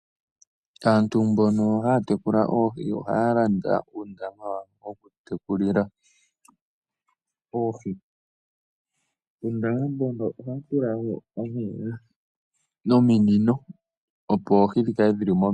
Aantu mbono haya tekula oohi ohaya landa uundama woku tekulila oohi. Uundama ohawu tekelwa nominino opo oohi dhi kale dhi kale dhi li momeya.